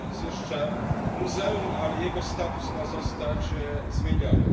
Jest to jeszcze muzeum, ale jego status ma zostać zmieniony.